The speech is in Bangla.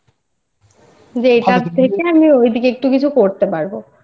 হুম যে এখান থেকে ওদিকে আমি একটা কিছু করতে পারবI